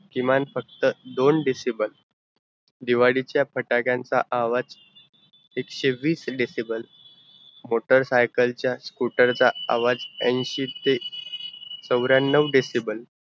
की मान फक्त दोंन decible दिवाळीच्या फटक्यांचा आवा एकशे वीस deciblemotorcycle चा, scooter चा आवाज़ अंशी ते चवर्यानव decible